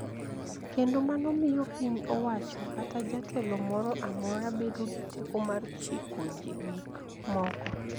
Kendo mano miyo piny owacho kata jatelo moro amora bedo gi teko mar chiko gik moko.